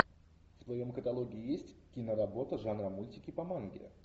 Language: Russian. в твоем каталоге есть киноработа жанра мультики по манге